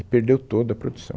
E perdeu toda a produção.